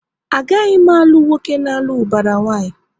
A gaghị m alụ nwoke n'alu ubara nwanyi!